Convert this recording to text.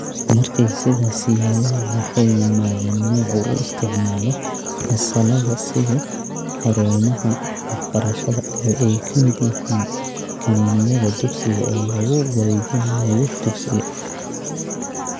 Markii ay sidaas yeeleen, waxay yimaadeen nooc u isticmaala fasallada sidii 'xarumaha waxbarashada' oo ay ka mid yihiin kaniiniyada dugsiga oo lagu wareejinayo dugsiga.